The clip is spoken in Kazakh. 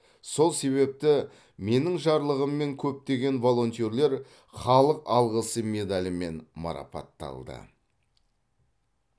сол себепті менің жарлығыммен көптеген волонтерлер халық алғысы медалімен марапатталды